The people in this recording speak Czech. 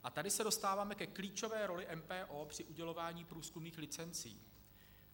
A tady se dostáváme ke klíčové roli MPO při udělování průzkumných licencí.